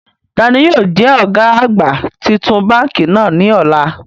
Taani yóò jẹ ọ̀gá àgbà titun báńkì náà ní ọ̀la?